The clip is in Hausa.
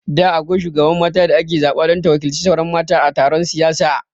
Da akwai shugaban mata da ake zaɓa don ta waƙilci sauran mata a taron siyasa